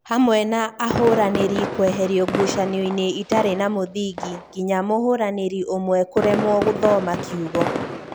hamwe na ahũranĩri kweherio ngucanio-inĩ itarĩ na mũthingi nginya mũhũranĩri ũmwe kũremwo gũthoma kiugo